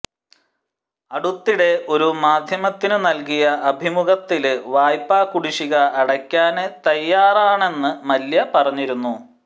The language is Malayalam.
അടുത്തിടെ ഒരു മാധ്യമത്തിനു നല്കിയ അഭിമുഖത്തില് വായ്പാ കുടിശിക അടയ്ക്കാന് തയാറാണെന്ന് മല്യ പറഞ്ഞിരുന്നു